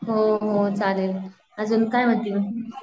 हो हो चालेल, आजून काय म्हणती म?